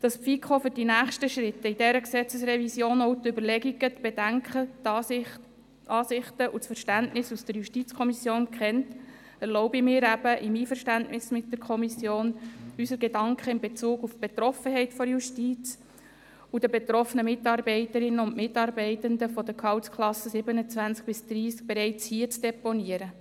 Damit die FiKo für die nächsten Schritte in dieser Gesetzesrevision auch die Überlegungen, die Bedenken, die Ansichten und das Verständnis der JuKo kennt, erlaube ich mir im Einverständnis mit der Kommission, unsere Gedanken in Bezug auf die Betroffenheit der Justiz und die betroffenen Mitarbeiterinnen und Mitarbeitern der Gehaltsklassen 27–30 bereits hier zu deponieren.